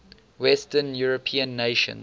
western european nations